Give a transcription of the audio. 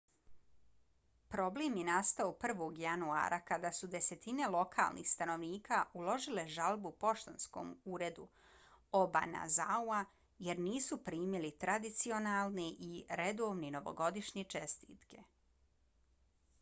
problem je nastao 1. januara kada su desetine lokalnih stanovnika uložile žalbu poštanskom uredu obanazawa jer nisu primili tradicionalne i redovne novogodišnje čestitke